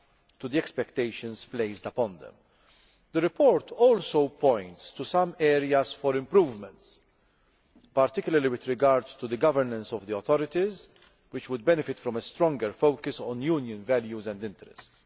to the expectations we had of them. The report also points to some areas for improvement, particularly with regard to the governance of the authorities, which would benefit from a stronger focus on Union values and interests.